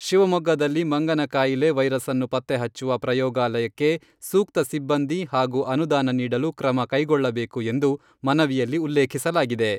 ಶಿವಮೊಗ್ಗದಲ್ಲಿ ಮಂಗನ ಕಾಯಿಲೆ ವೈರಸ್ಸನ್ನು ಪತ್ತೆ ಹಚ್ಚುವ ಪ್ರಯೋಗಾಲಯಕ್ಕೆ ಸೂಕ್ತ ಸಿಬ್ಬಂದಿ ಹಾಗೂ ಅನುದಾನ ನೀಡಲು ಕ್ರಮ ಕೈಗೊಳ್ಳಬೇಕು ಎಂದು ಮನವಿಯಲ್ಲಿ ಉಲ್ಲೇಖಿಸಲಾಗಿದೆ.